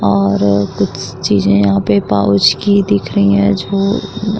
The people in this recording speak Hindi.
और कुछ चीजे यहाँ पे पाउच की दिख रही हैं जो --